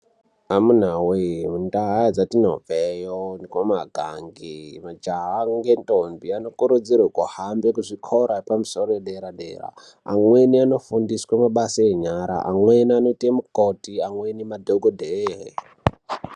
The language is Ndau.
Amuna we mundau dzatinobve iyo kumagange majaha nendombi anokurudzirwa kuhambe kuzvikora yedera dera antu amweni anofundiswa mabasa enyara amweni anoita mikoti amweni madhokodheya.